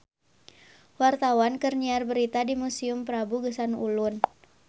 Wartawan keur nyiar berita di Museum Prabu Geusan Ulun